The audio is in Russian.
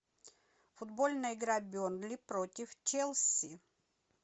футбольная игра бернли против челси